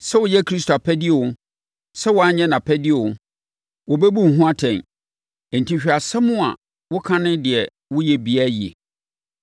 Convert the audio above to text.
Sɛ woyɛ Kristo apɛdeɛ o, sɛ woanyɛ nʼapɛdeɛ o, wobɛbu wo ho atɛn. Enti hwɛ asɛm a woka ne deɛ woyɛ biara yie.